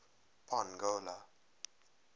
pongola